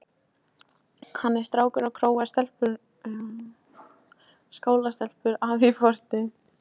Hann er strákur og króar skólastelpur af í porti.